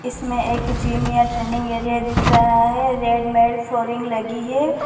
इसमें एक जिम या ट्रेनिंग एरिया दिख रहा है रेड में फ्लोरिंग लगी है।